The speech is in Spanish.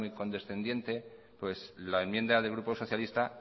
condescendiente pues la enmienda del grupo socialita